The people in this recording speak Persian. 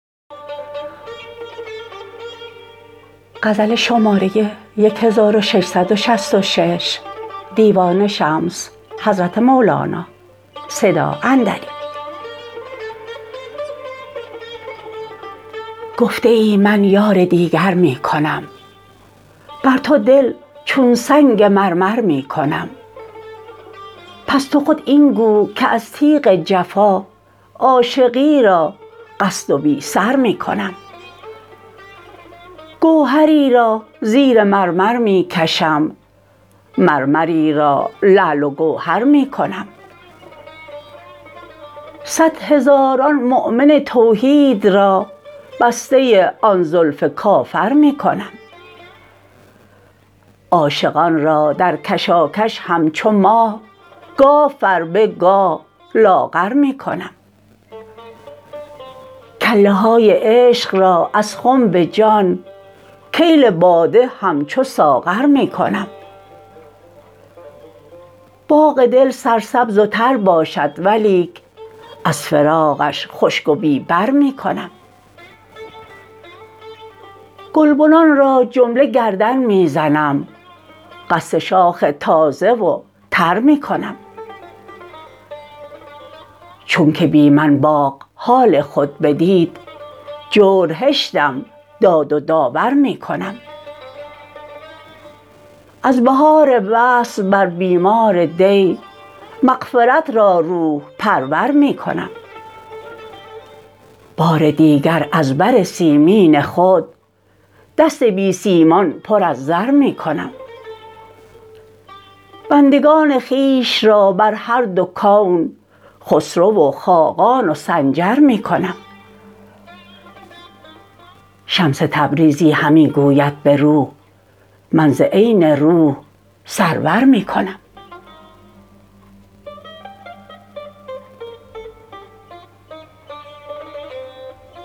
گفته ای من یار دیگر می کنم بر تو دل چون سنگ مرمر می کنم پس تو خود این گو که از تیغ جفا عاشقی را قصد و بی سر می کنم گوهری را زیر مرمر می کشم مرمری را لعل و گوهر می کنم صد هزاران مؤمن توحید را بسته آن زلف کافر می کنم عاشقان را در کشاکش همچو ماه گاه فربه گاه لاغر می کنم کله های عشق را از خنب جان کیل باده همچو ساغر می کنم باغ دل سرسبز و تر باشد ولیک از فراقش خشک و بی بر می کنم گلبنان را جمله گردن می زنم قصد شاخ تازه و تر می کنم چونک بی من باغ حال خود بدید جور هشتم داد و داور می کنم از بهار وصل بر بیمار دی مغفرت را روح پرور می کنم بار دیگر از بر سیمین خود دست بی سیمان پر از زر می کنم بندگان خویش را بر هر دو کون خسرو و خاقان و سنجر می کنم شمس تبریزی همی گوید به روح من ز عین روح سرور می کنم